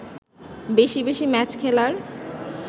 বেশি বেশি ম্যাচ খেলার